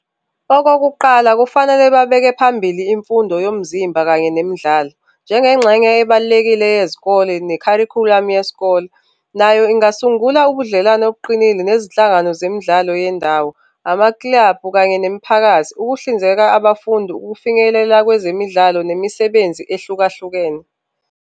Okokuqala, kufanele babeke phambili imfundo yomzimba kanye nemidlalo, njengengxenye ebalulekile yezikole nekharikhulamu yesikole, nayo ingasungula ubudlelwano obuqinile nezinhlangano zemidlalo yendawo, ama-club kanye nemiphakathi, ukuhlinzeka abafundi, ukufinyelela kwezemidlalo nemisebenzi ehlukahlukene.